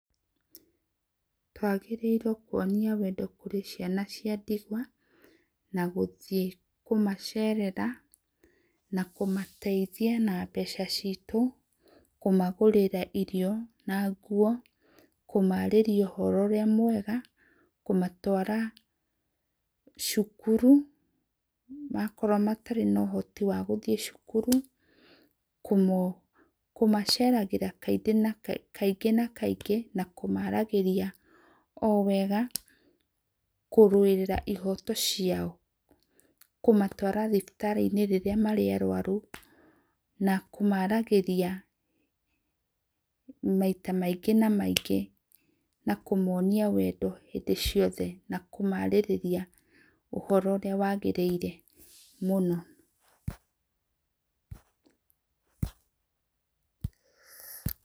Twagĩrĩirwo kũonĩa wendo kũrĩ ciana cia ndĩgwa, na gũthĩe kũmacerera na kũmateithĩa na mbeca citũ, kũmagũrĩra irio na ngũo, kũmarĩrĩa ũhoro ũrĩa mwega, kũmatwara cũkũrũ, okoro matarĩ na ũhotĩ wa gũthĩe cukuru, kũmaceragĩra kaĩ kaĩngĩ na kaĩngĩ na kũmaaragĩrĩa o wega kũrũĩrĩra ihoto ciao kũmatwara thibitari inĩ rĩrĩa marĩ a arwarũ na kũma aragĩrĩa maĩta maĩngĩ na maĩngĩ na kũmonĩa mwendo hĩndĩ ciothe na kũma arĩrĩa ũhoro ũrĩa wagĩriĩre mũno.